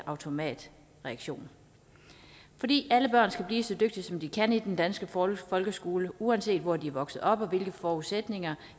automatisk reaktion alle børn skal blive så dygtige som de kan i den danske folkeskole uanset hvor de er vokset op og hvilke forudsætninger